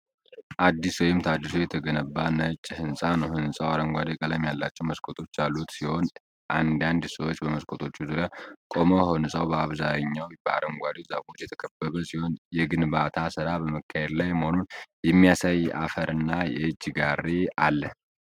አዲስ ወይም ታድሶ የተገነባ ነጭ ሕንጻ ነው። ሕንጻው አረንጓዴ ቀለም ያላቸው መስኮቶች ያሉት ሲሆን፣ አንዳንድ ሰዎች በመስኮቶቹ ዙሪያ ቆመው ሕንጻው በአብዛኛው በአረንጓዴ ዛፎች የተከበበ ሲሆን፣ የግንባታ ሥራ በመካሄድ ላይ መሆኑን የሚያሳይ አፈርና የእጅ ጋሪ አለ።